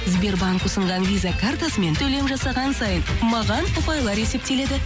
сбербанк ұсынған виза картасымен төлем жасаған сайын маған ұпайлар есептеледі